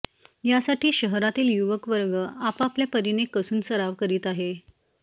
यासाठी शहरातील युवक वर्ग आपापल्या परीने कसून सराव करीत आहे